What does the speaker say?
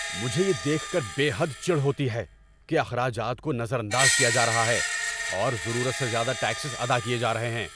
مجھے یہ دیکھ کر بے حد چڑ ہوتی ہے کہ اخراجات کو نظر انداز کیا جا رہا ہے، اور ضرورت سے زیادہ ٹیکسز ادا کیے جا رہے ہیں۔